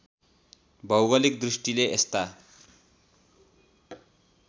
भौगोलिक दृष्टिले यस्ता